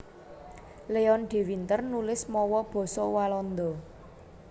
Leon de Winter nulis mawa basa Walanda